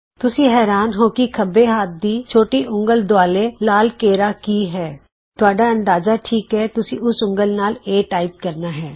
ਤੁਸੀਂ ਹੈਰਾਨ ਹੋ ਕਿ ਖੱਬੇ ਹੱਥ ਦੀ ਛੋਟੀ ਉਂਗਲ ਦੁਆਲੇ ਲਾਲ ਘੇਰਾ ਕੀ ਹੈ ਤੁਹਾਡਾ ਅੰਦਾਜ਼ਾ ਠੀਕ ਹੈਤੁਸੀਂ ਉਸ ਉਂਗਲ ਨਾਲ ਏ ਟਾਈਪ ਕਰਨਾ ਹੈ